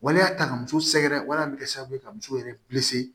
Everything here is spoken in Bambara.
Waleya ta ka muso sɛgɛrɛ waleya min bɛ kɛ sababu ye ka muso yɛrɛ